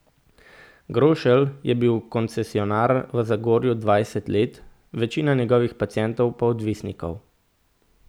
Grošelj je bil koncesionar v Zagorju dvajset let, večina njegovih pacientov pa odvisnikov.